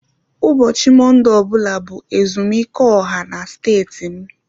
Ụbọchị Mọnde ọ bụla bụ ezumike ọha na steeti m